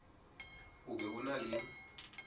o be o na le